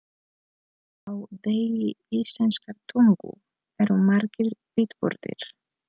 Á degi íslenskrar tungu eru margir viðburðir.